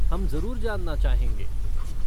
हम जरुर जानना चाहेंगे।